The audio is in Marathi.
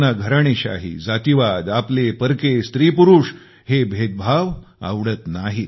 त्यांना घराणेशाही जातिवाद आपलेपरके स्त्रीपुरुष हे भेदभाव आवडत नाही